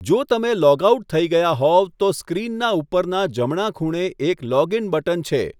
જો તમે log out થઇ ગયા હોવ તો સ્ક્રીનના ઉપરના જમણા ખૂણે એક લૉગિન બટન છે.